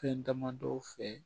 Fɛn damadɔ fɛ